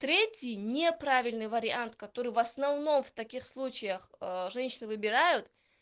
третий неправильный вариант который в основном в таких случаях женщины выбирают